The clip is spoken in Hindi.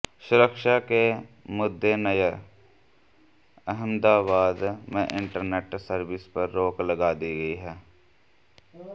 सुरक्षा के मद्दे नजर अहमदाबाद में इंटरनेट सर्विस पर रोक लगा दी गई है